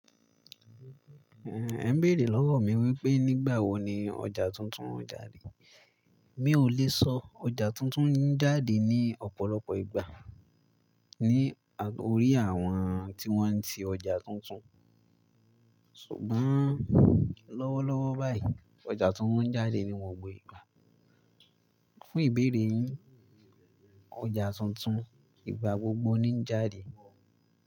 Ehn, ẹ bèrè lọ́wọ́ mi wípé nígbà wo ni ọjà tuntun ń jáde. Mi ò lè sọ, ọjà tuntun ń jáde ní ọ̀pọ̀lọpọ̀ ìgbà lórí àwọn tí wọ́n ń ti ọjà tuntun. Ṣùgbọ́n lọ́wọ́lọ́wọ́ báyìí, ọjà tuntun ń jáde ní gbogbo ìgbà. Fún ìbéèrè yín, ọjà tuntun ìgbà gbogbo ni ń jáde.